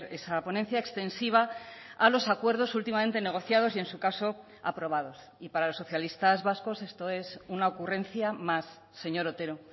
esa ponencia extensiva a los acuerdos últimamente negociados y en su caso aprobados y para los socialistas vascos esto es una ocurrencia más señor otero